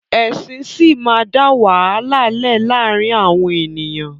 Ẹ̀sìn síí máa da wàhálà lẹ laarin awọn eniyan